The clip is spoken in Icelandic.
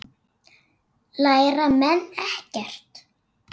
Læra menn ekkert?